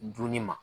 Dunni ma